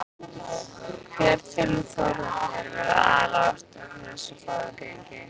Hver telur Þórhallur vera aðal ástæðuna fyrir þessu góða gengi?